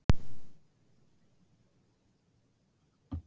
Að þessu leyti er hún ólík öðrum burstaormum og vöxtur hennar minnir lítt á orma.